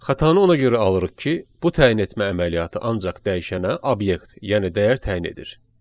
Xətanı ona görə alırıq ki, bu təyin etmə əməliyyatı ancaq dəyişənə obyekt, yəni dəyər təyin edir.